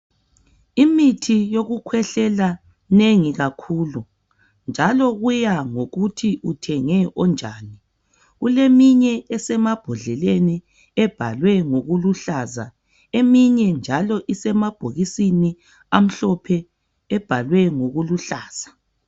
Imithi yokukhwehlela minengi kakhulu . Njalo kuya ngokuthi uthenge onjani .Kuleminye esemambodleleni ebhalwe ngokuluhlaza .Eminye njalo isemabhokisini amhlophe ebhalwe ngokuluhlaza .